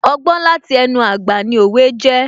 Ọgbọ́n láti ẹnu àgbà ni òwe jẹ́